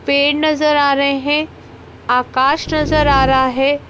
पेड़ नजर आ रहे हैं आकाश नजर आ रहा है।